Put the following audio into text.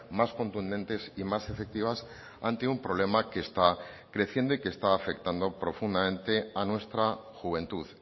más contundentes y más efectivas ante un problema que está creciendo y que está afectando profundamente a nuestra juventud